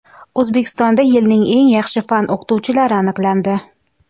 O‘zbekistonda yilning eng yaxshi fan o‘qituvchilari aniqlandi.